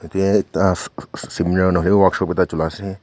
yatae ekta sss siminar nahoi workshop ekta chola ase.